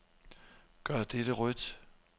Gør dette rødt.